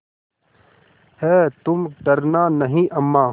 हैतुम डरना नहीं अम्मा